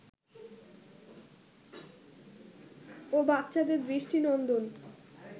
ও বাচ্চাদের দৃষ্টিনন্দন